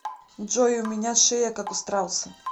джой у меня шея как у страуса